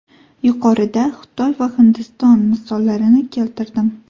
Yuqorida Xitoy va Hindiston misollarini keltirdim.